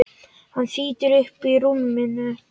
Hann þýtur upp úr rúminu.